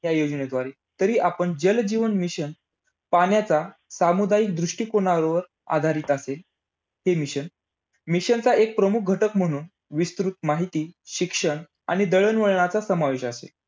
ध्रुव अनुभट्टी. मुंबई जवळ तुर्भे येथे एकोणीशे पंच्यांशी मध्य संपूर्ण पणे भारतीय बनवटीची ध्रुव अनुभट्टी सुरु करण्यात आली.